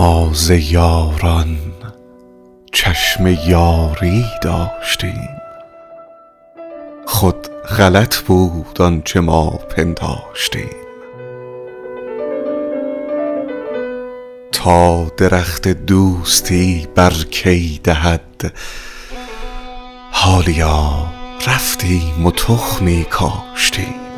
ما ز یاران چشم یاری داشتیم خود غلط بود آنچه ما پنداشتیم تا درخت دوستی بر کی دهد حالیا رفتیم و تخمی کاشتیم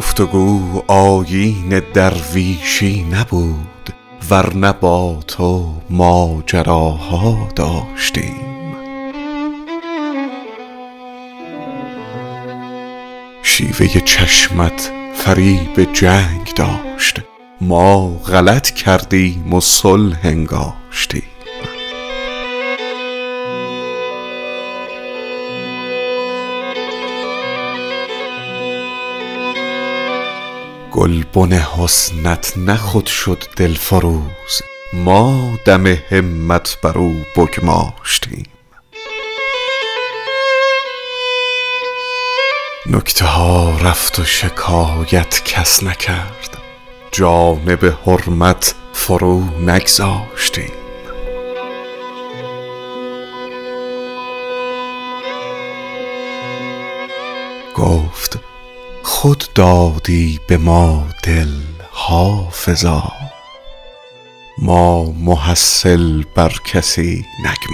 گفت و گو آیین درویشی نبود ور نه با تو ماجراها داشتیم شیوه چشمت فریب جنگ داشت ما غلط کردیم و صلح انگاشتیم گلبن حسنت نه خود شد دلفروز ما دم همت بر او بگماشتیم نکته ها رفت و شکایت کس نکرد جانب حرمت فرو نگذاشتیم گفت خود دادی به ما دل حافظا ما محصل بر کسی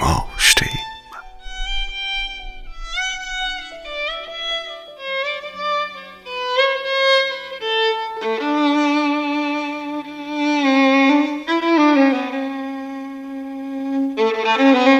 نگماشتیم